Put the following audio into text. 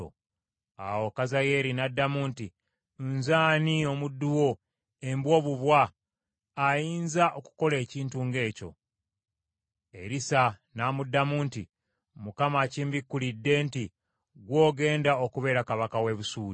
Awo Kazayeeri n’addamu nti, “Nze ani omuddu wo, embwa obubwa, ayinza okukola ekintu ng’ekyo?” Erisa n’amuddamu nti, “ Mukama akimbikulidde nti ggwe ogenda okubeera kabaka w’e Busuuli.”